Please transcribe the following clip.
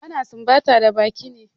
Ana sumbata da baki ne.